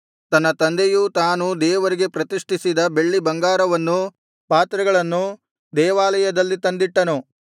ತನ್ನ ತಂದೆಯೂ ತಾನೂ ದೇವರಿಗೆ ಪ್ರತಿಷ್ಠಿಸಿದ್ದ ಬೆಳ್ಳಿಬಂಗಾರವನ್ನೂ ಪಾತ್ರೆಗಳನ್ನೂ ದೇವಾಲಯದಲ್ಲಿ ತಂದಿಟ್ಟನು